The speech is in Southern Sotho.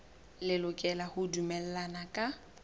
le lokela ho dumellana ka